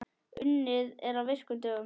Unnið er á virkum dögum.